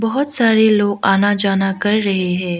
बहोत सारे लोग आना जाना कर रहे हैं।